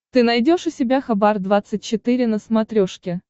ты найдешь у себя хабар двадцать четыре на смотрешке